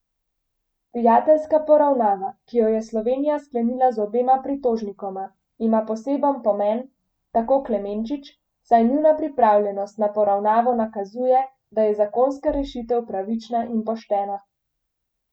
Prijateljska poravnava, ki jo je Slovenija sklenila z obema pritožnikoma, ima poseben pomen, tako Klemenčič, saj njuna pripravljenost na poravnavo nakazuje, da je zakonska rešitev pravična in poštena.